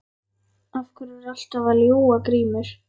Af hverju ertu alltaf að ljúga Grímur?